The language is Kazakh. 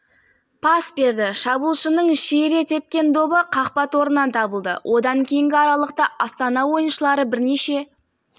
жастағы азаматты өлтіріп денесін әжетханаға тастаған күдіктілерге қатысты сот отырысы басталды деп хабарлайды арнасына сілтеме жасап